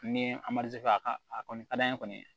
Ni a ka a kɔni ka d'an ye kɔni